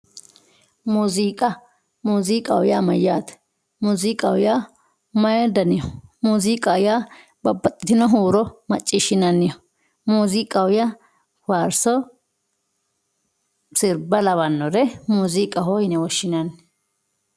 Muuziiqa muuziiqaho yaa mayyaate muuziiqa yaa mayi daniho muuziiqaho yaa babbaxxitino huuro macciishshinanniho muuziiqaho yaa faarso sirba lawannore muuziiqaho yine woshshinanni